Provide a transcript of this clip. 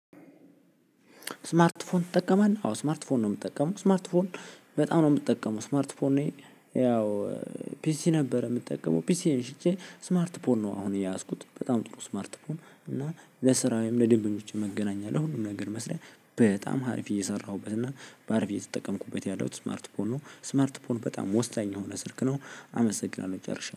ስማርት ፎን ትጠቀማለህ? አዎ ስማርት ፎን ነው ምጠቀመው ስማርት ፎን በጣም ነው ምጠቀመው ስማርት ፎን ነው። ያው ፒሲ ነበር ምጠቀመው ፒሲዬን ሽጬ ስማርት ፖን ነው። አሁን የያዝኩት በጣም ጥሩ ስማርት ፖን እና ለስራዬም ለደንበኞቼም መገናኛለ ለሁሉም ነገር መስሪያ በጣም ሀሪፍ እየሰራሁበት እና በሀሪፍ እየተጠቀምኩበት ያለሁት ስማርት ፖን ነው። ስማርት ፖን በጣም ወሳኝ የሆነ ስልክ ነው። አመሰግናለሁ ጨርሻለሁ